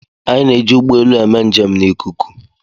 Anyị na-eji ụgbọ elu eme njem n'ikuku.